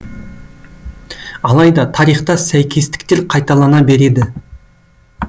алайда тарихта сәйкестіктер қайталана береді